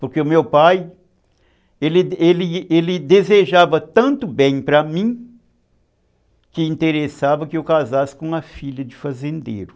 Porque o meu pai, ele ele ele ele desejava tanto bem para mim, que interessava que eu casasse com uma filha de fazendeiro.